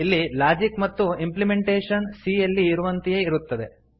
ಇಲ್ಲಿ ಲಾಜಿಕ್ ಮತ್ತು implementation c ಯಲ್ಲಿ ಇರುವಂತೆಯೇ ಇರುತ್ತದೆ